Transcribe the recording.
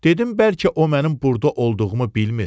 Dedim bəlkə o mənim burda olduğumu bilmir.